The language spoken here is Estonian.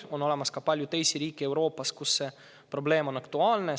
Euroopas on ka palju teisi riike, kus see probleem on aktuaalne.